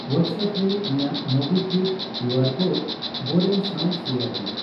WhatsApp ᱨᱮ ᱤᱧᱟᱹᱜ MobiKwik QR code ᱵᱚᱨᱮᱱ ᱥᱟᱣ ᱥᱮᱭᱟᱨ ᱢᱮ ᱾